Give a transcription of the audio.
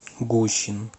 гущин